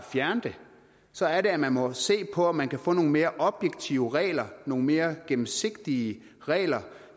fjerne den så er det at man må se på om man kan få nogle mere objektive regler nogle mere gennemsigtige regler